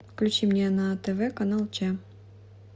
включи мне на тв канал че